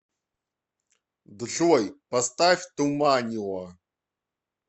джой поставь туманио